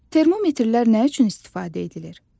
Termometrlər nə üçün istifadə edilir?